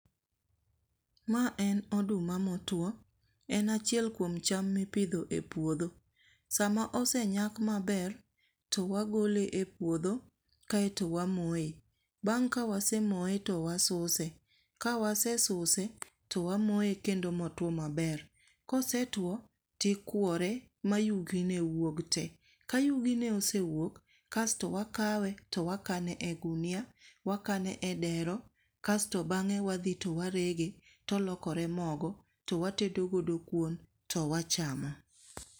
Ma en oduma motuwo. En achiel kuom cham mipidho e puodho. Sama osenyak maber, to wagole e puodho kaeto wamoye. Bang' ka wasemoye to wasuse. Ka wasesuse, to wamoye kendo motuwo maber. Kosetuwo tikwore ma yugine wuog te. Ka yugine osewuok, kasto wakawe to wakane e gunia.,wakane e dero, kasto bang'e wadhi to warege to olokre mogo, to watedo godo kuon to wachamo.